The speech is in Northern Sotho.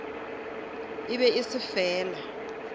e be e se fela